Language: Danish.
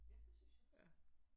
Ja det synes jeg også